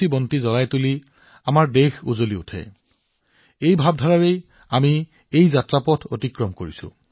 এটা চাকিতেই আৰু আলোক আৰু ৰাষ্ট্ৰ উজ্বল আমি এই ভাৱনাৰে পথ নিৰ্ধাৰণ কৰিছো